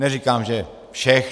Neříkám že všech.